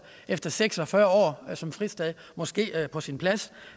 efter seks og fyrre år som fristad måske var på sin plads